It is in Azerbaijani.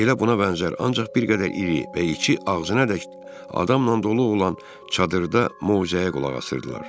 Elə buna bənzər ancaq bir qədər iri və içi ağzınadək adamla dolu olan çadırda moizəyə qulaq asırdılar.